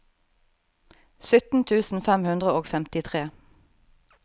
sytten tusen fem hundre og femtitre